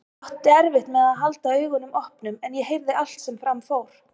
Ég átti erfitt með að halda augunum opnum en ég heyrði allt sem fram fór.